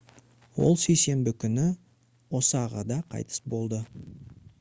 ол сейсенбі күні осағада қайтыс болды